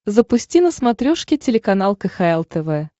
запусти на смотрешке телеканал кхл тв